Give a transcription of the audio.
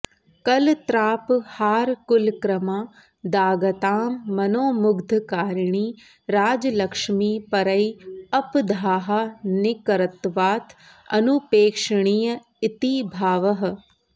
कलत्रापहारकुलक्रमादागतां मनोमुग्धकारिणी राजलक्ष्मी परैः अप दाहानिकरत्वात् अनुपेक्षणीय इति भावः